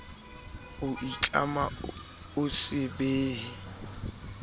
o itlama ho se behe